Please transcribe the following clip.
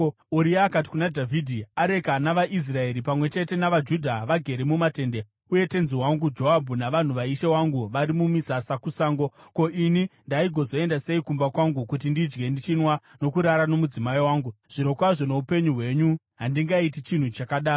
Uria akati kuna Dhavhidhi, “Areka navaIsraeri pamwe chete navaJudha vagere mumatende, uye tenzi wangu Joabhu navanhu vaishe wangu vari mumisasa kusango. Ko, ini ndaigozoenda sei kumba kwangu kuti ndidye ndichinwa nokurara nomudzimai wangu? Zvirokwazvo noupenyu hwenyu, handingaiti chinhu chakadaro!”